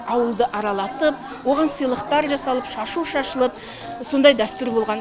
ауылды аралатып оған сыйлықтар жасалып шашу шашылып сондай дәстүр болған